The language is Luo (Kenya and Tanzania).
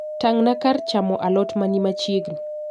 Tangna kar chamo alot mani machiegni